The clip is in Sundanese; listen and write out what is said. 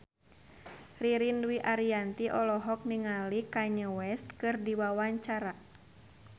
Ririn Dwi Ariyanti olohok ningali Kanye West keur diwawancara